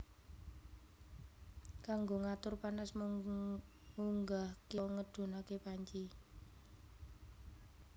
Kanggo ngatur panas mung ngunggahke utawa ngedhunake panci